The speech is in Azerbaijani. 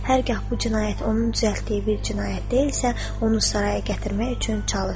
Hər hal bu cinayət onun düzəltdiyi bir cinayət deyilsə, onu saraya gətirmək üçün çalış.